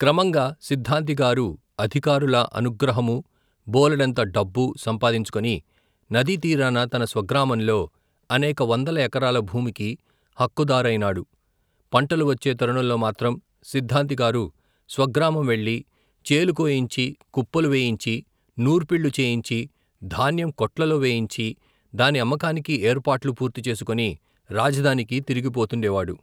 క్రమంగా సిద్ధాంతిగారు అధికారుల అనుగ్రహమూ బోలెడంత డబ్బూ సంపాదించుకుని నదీతీరాన తన స్వగ్రామంలో అనేక వందల ఎకరాల భూమికి హక్కు దారయినాడు పంటలు వచ్చే తరుణంలో మాత్రం సిద్ధాంతి గారు స్వగ్రామం వెళ్ళి చేలుకోయించి కుప్పలువేయించి నూర్పిళ్లు చేయించి ధాన్యం కొట్లలో వేయించి దాని అమ్మకానికి ఏర్పాట్ల్లు పూర్తిచేసుకొని రాజధానికి తిరిగి పోతుండేవాడు.